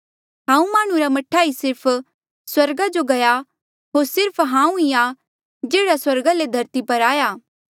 हांऊँ माह्णुं रा मह्ठा ई सिर्फ स्वर्गा जो गया होर सिर्फ हांऊँ ई आ जेह्ड़ा स्वर्गा ले धरती पर आया